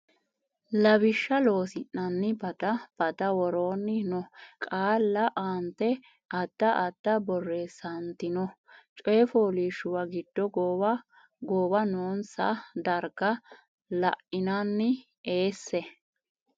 Lawishsha Loossinanni bada badda woroonni noo qaalla aante ada adda borreessantino coyfoolishshuwa giddo gowa gowwa noonsa darga la inanni eesse.